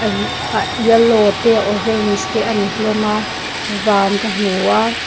yellow te orange te a ni hlawm a van ka hmu a.